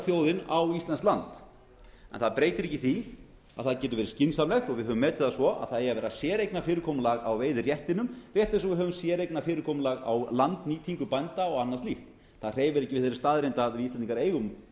þjóðin á íslenskt land það breytir ekki því að það getur verið skynsamlegt og við höfum metið það svo að það eigi að vera séreignarfyrirkomulag á veiðiréttinum rétt eins og við höfum séreignarfyrirkomulag á landnýtingu bænda og annað slíkt það hreyfir ekki við þeirri staðreynd að við íslendingar eigum